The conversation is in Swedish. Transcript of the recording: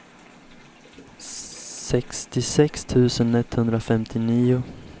sextiosex tusen etthundrafemtionio